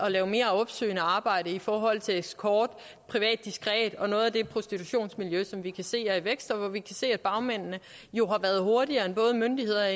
at lave mere opsøgende arbejde i forhold til escort privat diskret og noget af det prostitutionsmiljø som vi kan se er i vækst og hvor vi kan se at bagmændene jo har været hurtigere end både myndigheder